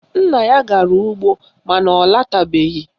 Nna ya gara ugbo mana ọ latabeghi